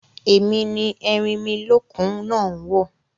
Èmi ni erinmilókun náà ń wò